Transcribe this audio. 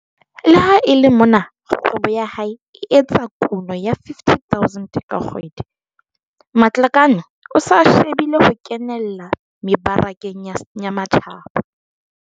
Le ha e le mona kgwebo ya hae e etsa kuno ya R50 000 ka kgwedi, Matlakane o se a shebile ho kenella mebarakeng ya matjhaba.